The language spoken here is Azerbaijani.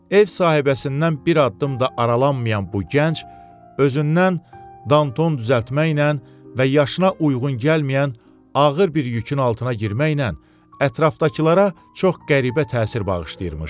Ev sahibəsindən bir addım da aralanmayan bu gənc özündən Danton düzəltməklə və yaşına uyğun gəlməyən ağır bir yükün altına girməklə ətrafdakılara çox qəribə təsir bağışlayırmış.